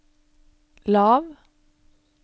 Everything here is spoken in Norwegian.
lav